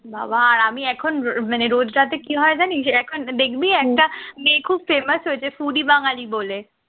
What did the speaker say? বাবা আর আমি এখন মানে রোজ রাতে কি হয় জানিস এখন দেখবি একটা মেয়ে খুব famous হয়েছে foody বাঙ্গালি বলে